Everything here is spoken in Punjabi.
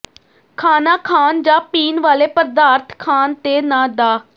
ਖਾਣਾ ਖਾਣ ਜਾਂ ਪੀਣ ਵਾਲੇ ਪਦਾਰਥ ਖਾਣ ਤੇ ਨਾ ਡ